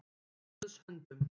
Í Guðs höndum